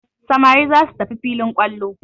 Samari za su tafi filin kwallo.